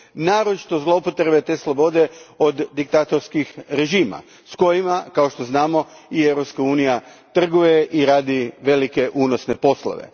Naročito zloupotrebe te slobode od diktatorskih režima s kojima, kao što znamo, i Europska unija trguje i radi velike, unosne poslove.